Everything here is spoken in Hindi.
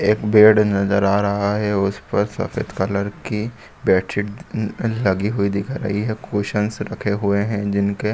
एक बेड नजर आ रहा है उसपर सफ़ेद कलर की बेडशीट अ अ लगी हुई दिख रही है कुशन्स रखे हुए है जिनके --